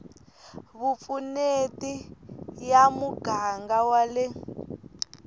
vupfuneti ya muganga wa le